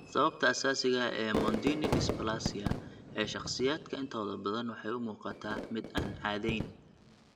Sababta asaasiga ah ee Mondini dysplasia (MD) ee shakhsiyaadka intooda badan waxay u muuqataa mid aan caddayn.